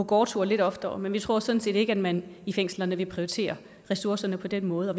gårdtur lidt oftere men vi tror sådan set ikke at man i fængslerne vil prioritere ressourcerne på den måde og